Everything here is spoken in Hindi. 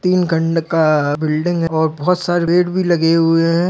तीन खंड का बिल्डिंग और बहोत सारे पेड़ भी लगे हुए हैं।